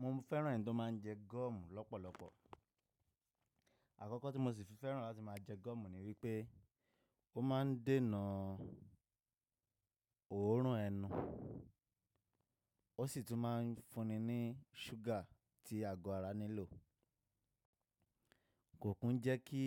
Mo fẹ́ràn ẹni tó má a ń jẹ gọ́ọ̀mù lọ́pọ̀lọpọ̀. Àkọ́kọ́ tí mo sì fi fẹ́ràn láti má a jẹ gọ́ọ̀mù ni wípé ó má a ń dènà òórùn ẹnu, ó sì tún má ń fúnni ní ṣúgà tí ago ara nílò. Kò kún jẹ́ kí